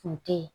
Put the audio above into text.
Kun te ye